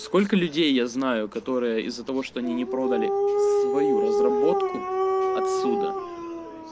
сколько людей я знаю которые из-за того что они не продали свою разработку отсюда